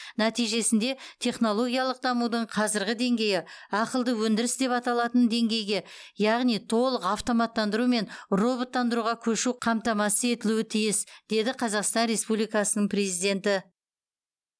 нәтижесінде технологиялық дамудың қазіргі деңгейі ақылды өндіріс деп аталатын деңгейге яғни толық автоматтандыру мен роботтандыруға көшу қамтамасыз етілуі тиіс деді қазақстан республикасының президенті